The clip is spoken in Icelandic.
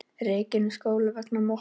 Rekinn úr skóla vegna mottu